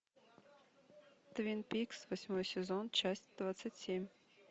твин пикс восьмой сезон часть двадцать семь